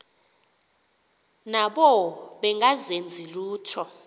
nabo bengazenzi lutho